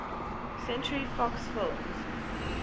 century fox films